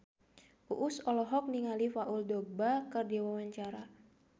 Uus olohok ningali Paul Dogba keur diwawancara